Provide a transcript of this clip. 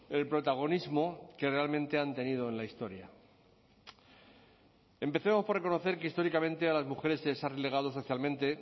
el protagonismo que realmente han tenido en la historia empecemos por reconocer que históricamente a las mujeres se les ha relegado socialmente